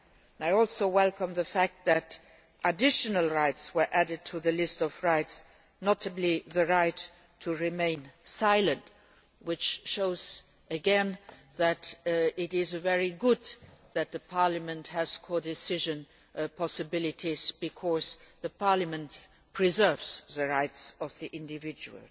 I also welcome the fact that additional rights were added to the list of rights, notably the right to remain silent, which shows again that it is very good that Parliament has codecision possibilities because Parliament preserves the rights of the individual.